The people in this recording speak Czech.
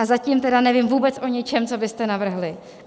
A zatím tedy nevím vůbec o ničem, co byste navrhli.